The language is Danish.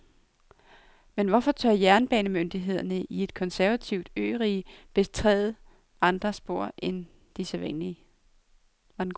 Men hvorfor tør jernbanemyndighederne i et konservativt ørige betræde andre spor end de sædvanlige?